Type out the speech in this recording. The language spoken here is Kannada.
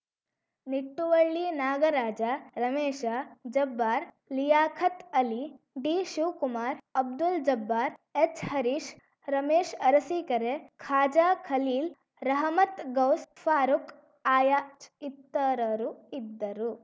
ನಿಟ್ಟುವಳ್ಳಿ ನಾಗರಾಜ ರಮೇಶ ಜಬ್ಬಾರ್‌ ಲಿಯಾಖತ್‌ ಅಲಿ ಡಿಶಿವಕುಮಾರ್ ಅಬ್ದುಲ್‌ ಜಬ್ಬಾರ್‌ ಎಚ್‌ಹರೀಶ್ ರಮೇಶ್ ಅರಸಿಕೆರೆ ಖಾಜಾ ಖಲೀಲ್‌ ರಹಮತ್‌ ಗೌಸ್‌ ಫಾರುಕ್‌ ಆಯಾಜ್‌ ಇತರರು ಇದ್ದರು